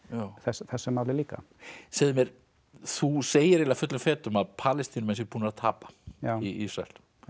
þessu máli líka segðu mér þú segir eiginlega fullum fetum að Palestínumenn séu búnir að tapa í Ísrael